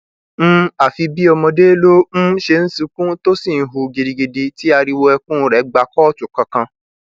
um àfi bíi ọmọdé ló um ṣe ń sunkún tó sì ń hù gidigidi tí ariwo ẹkún rẹ gba kóòtù kankan